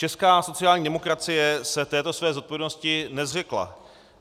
Česká sociální demokracie se této své zodpovědnosti nezřekla.